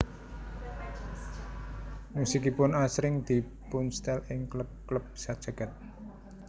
Musikipun asring dipunstel ing klub klub sajagad